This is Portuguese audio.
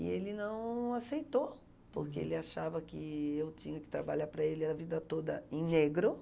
E ele não aceitou, porque ele achava que eu tinha que trabalhar para ele a vida toda em negro.